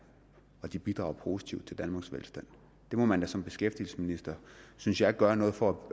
og de bidrager positivt til danmarks velstand der må man da som beskæftigelsesminister synes jeg gøre noget for